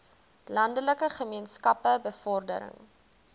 landelike gemeenskappe bevordering